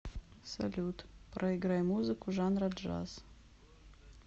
салют проиграй музыку жанра джаз